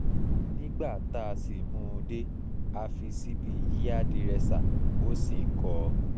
nígbà tá a sì mú un dé a fi ṣíbí yíàdírẹ́sa ó sì ń kọ́ ọ